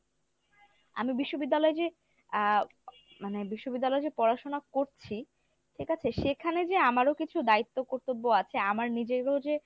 আমি বিশ্ববিদ্যালয়ে যে আ মানে বিশ্ববিদ্যালয়ে যে পড়াশোনা করছি ঠিক আছে সেখানে যে আমারও কিছু দায়িত্ব কর্তব্য আছে আমার নিজেরও যে,